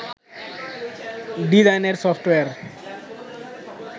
ডিজাইনের সফটওয়্যার